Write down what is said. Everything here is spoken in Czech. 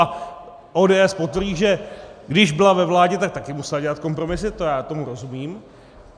A ODS potvrdí, že když byla ve vládě, tak také musela dělat kompromisy, to já tomu rozumím.